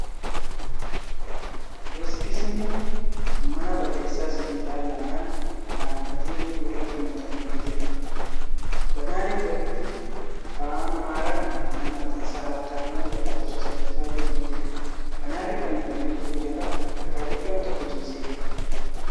Beeksisni mana barreessaa sibiila lamaan dhaabbatee jiru irratti maxxanfamee jira. Baanarii irratti Afaan Amaaraan ' mana maxxaansaa Habtaamuu lakkoofsa sadaffaa jedhu ni jira. Baanari fannifamee jiru jala dhakaa guddaan tokko ciisee jira.